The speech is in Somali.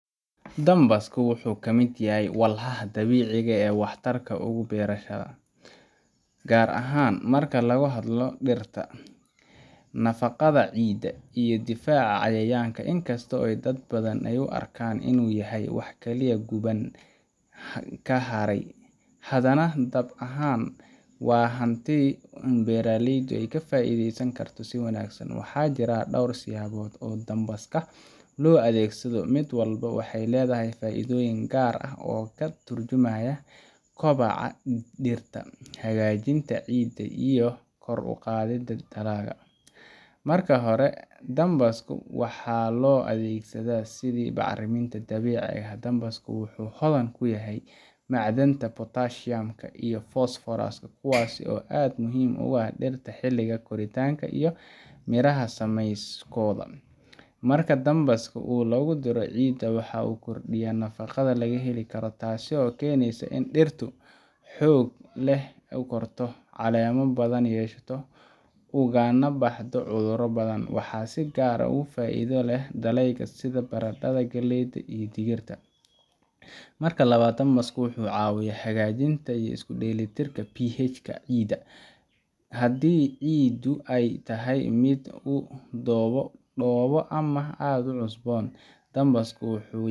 Dambaska wuxu kamid yahay walxaha dabiciga ee wax tarka ugu beerashada. Gaar ahaan marka lagu hadlo dirta nafaqadha ciida iyo difaca cayayanka inkasto dad badhan ay u arkan inu yahay ay wax Kali kuban kaharay hadana dab ahaan wa hanti beeraleyda ay kafaitheysan Karta si wanagsan waxa jira dowr siyabod oo dambaska lo adeegsadho mid walbo waxay ledhahay faidhoyin gaar ah oo Katar jumaya kobca diirta. Hagajinta ciida iyo koor uqathida talaga. Marki hora dambaska waxa lo adeegsadha sidhi bacraminta dabiciga ah dambaska wuxu hodhan kuyahay macdanta potashiyamka iyo phosphorus kuwaas oo aad muhim u ah dhirta xiliga koritanga iyo miraha sameyskodha. Marka dambaska oo lagudira ciida waxa u kordiya nafaqadha lagaheli Kara taaso keneysa ina diirtu xoog leh u korta caleema badhan yeshato ugana baxda cudhura badhan. Waxa si gaar ugu faidha leh dalega sidhi barandadha gileyda iyo digirta. Marka labad dambaska wuxu cawiya hagajinta iyo iskudeeli tirta pihajka ciida. hadii ciidu ay tahay mid ugu dooba ama aad u cusbon dambaska wuxu